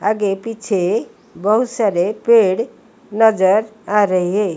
आगे पीछे बहुत सारे पेड़ नजर आ रहे।